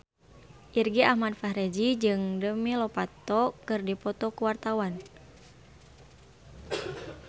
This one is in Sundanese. Irgi Ahmad Fahrezi jeung Demi Lovato keur dipoto ku wartawan